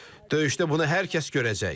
Döyüşdə bunu hər kəs görəcək.